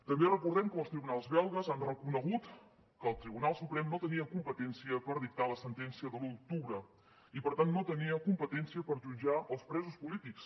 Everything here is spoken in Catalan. també recordem com els tribunals belgues han reconegut que el tribunal suprem no tenia competència per dictar la sentència de l’u d’octubre i per tant no tenia competència per jutjar els presos polítics